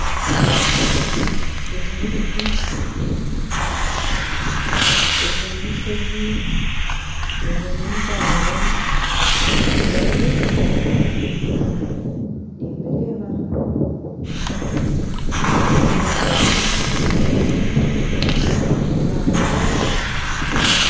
Egi n'emiti ezi n'enshozi ezi n'empanga ebi n'ebicu nimbireeba emiti yaaba mingi enshozi empanga